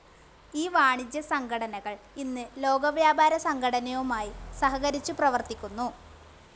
ഈ വാണിജ്യസംഘടനകൾ ഇന്ന് ലോകവ്യാപാരസംഘടനയുമായി സഹകരിച്ചു പ്രവർത്തിക്കുന്നു.